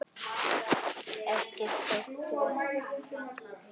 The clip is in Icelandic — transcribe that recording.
Ekki þótti okkur kálið gott.